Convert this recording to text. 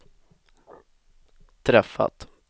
träffat